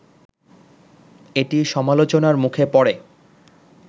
এটি সমালোচনার মুখে পড়ে